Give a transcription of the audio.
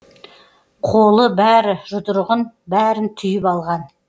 қолы бәрі жұдырығын бәрін түйіп алған